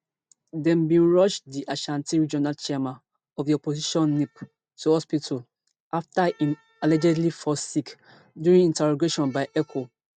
dem bin rush di ashanti regional chairman of di opposition npp to hospital afta im allegedly fall sick during interrogation by eoco